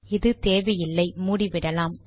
இது தேவையில்லை மூடிவிடலாம்